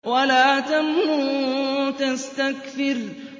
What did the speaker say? وَلَا تَمْنُن تَسْتَكْثِرُ